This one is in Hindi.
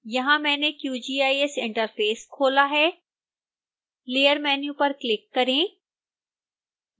यहां मैंने qgis इंटरफेस खोला है layer मैन्यू पर क्लिक करें